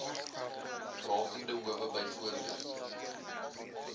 rakende howe byvoorbeeld